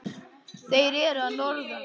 Þeir eru að norðan.